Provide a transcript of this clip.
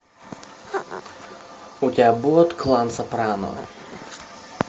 у тебя будет клан сопрано